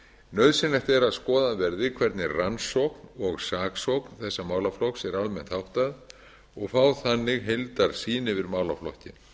nauðsynlegt er að skoðað verði hvernig rannsókn og saksókn þessa málaflokks er almennt háttað og fá þannig heildarsýn yfir málaflokkinn